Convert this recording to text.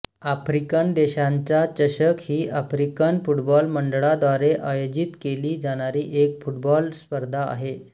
African देशांचा चषक ही आफ्रिकन फुटबॉल मंडळाद्वारे आयोजित केली जाणारी एक फुटबॉल स्पर्धा आहे